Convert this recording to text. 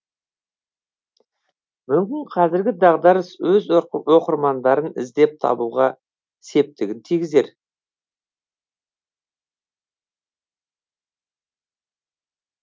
мүмкін қазіргі дағдарыс өз оқырмандарын іздеп табуға септігін тигізер